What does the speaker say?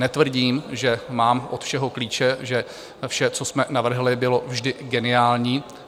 Netvrdím, že mám od všeho klíče, že vše, co jsme navrhli, bylo vždy geniální.